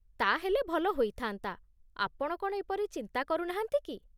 ତା'ହେଲେ ଭଲ ହୋଇଥା'ନ୍ତା, ଆପଣ କ'ଣ ଏପରି ଚିନ୍ତା କରୁ ନାହାନ୍ତି କି?